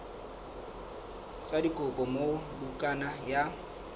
sa dikopo moo bukana ya